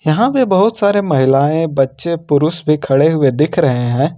यहां पर बहुत सारे महिलाएं बच्चे पुरुष पर खड़े हुए दिख रहे हैं।